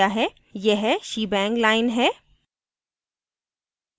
यह shebang line है